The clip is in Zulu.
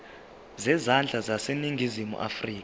zezandla zaseningizimu afrika